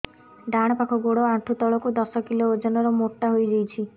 ଡାହାଣ ପାଖ ଗୋଡ଼ ଆଣ୍ଠୁ ତଳକୁ ଦଶ କିଲ ଓଜନ ର ମୋଟା ହେଇଯାଇଛି